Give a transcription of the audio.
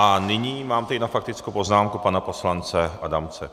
A nyní mám tady na faktickou poznámku pana poslance Adamce.